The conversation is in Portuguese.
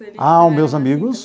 Ah, os meus amigos?